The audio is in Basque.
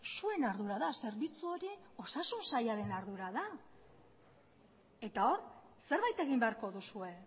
zuen ardura da zerbitzu hori osasun sailaren ardura da eta hor zerbait egin beharko duzue